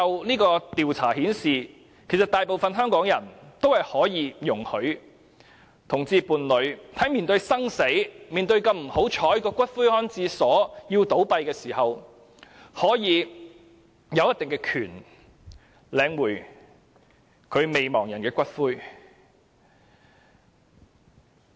這項調查顯示，大部分香港人容許同性伴侶在面對生死或這麼不幸地要面對骨灰安置所倒閉時，可以有一定的權利領取其伴侶的骨灰。